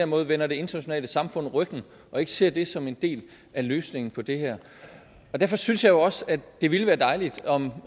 måde vender det internationale samfund ryggen og ikke ser det som en del af løsningen på det her derfor synes jeg jo også at det ville være dejligt om